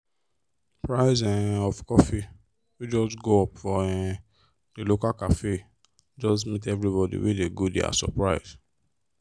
price um of coffee wey just go up for um the local cafe just meet everybody wey dey go there as surprise.